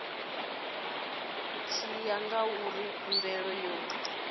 tshi ya ngauri khumbelo yo